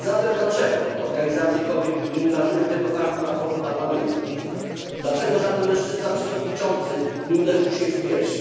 Dlaczego zatem organizacje kobiet nie ukazują tego faktu na forum Parlamentu, dlaczego żaden mężczyzna przewodniczący nie uderzył się w pierś?